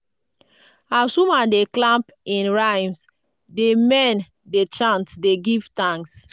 as woman dey clap in rhymes di men dey chant dey give thanks.